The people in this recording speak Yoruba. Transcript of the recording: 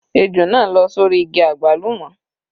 Ejò náà lọ́ sórí igi àgbálùmọ́.